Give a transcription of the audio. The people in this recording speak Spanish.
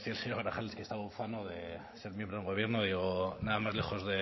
me decía el señor grajales que estaba ufano de ser miembro de un gobierno y digo nada más lejos